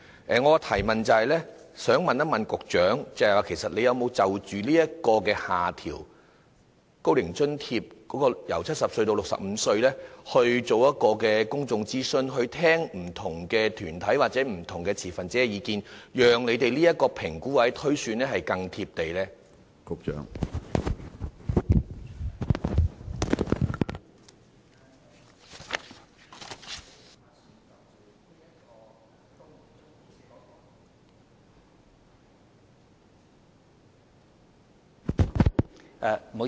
我的補充質詢是，局長有否就"高齡津貼"的年齡由70歲下調至65歲的要求諮詢公眾，聆聽不同團體或持份者的意見，讓當局的評估或推算更能貼地呢？